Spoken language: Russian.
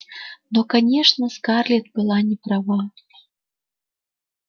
но конечно скарлетт была не права